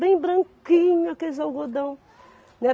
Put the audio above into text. Bem branquinho aqueles algodão, né?